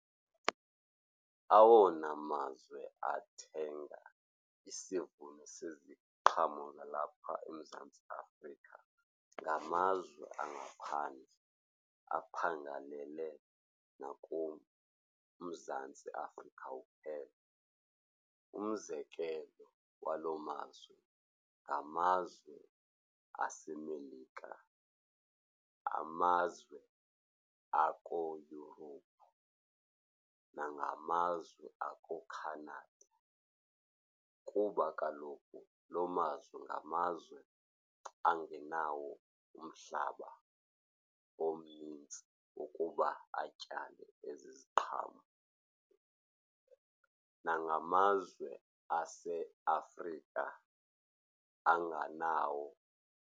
Awona amazwe athenga isivuno seziqhamo zalapha eMzantsi Afrika ngamazwe angaphandle, aphangalele, ngakumbi uMzantsi Afrika uphela. Umzekelo waloo mazwe, ngamazwe asiMelika, ngamazwe akooEurope nangamazwe akooCanada kuba kaloku loo mazwe ngamazwe angenawo umhlaba omninzi ukuba atyale ezi ziqhamo. Nangamazwe aseAfrika anganawo.